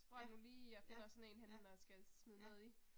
Ja, ja, ja, ja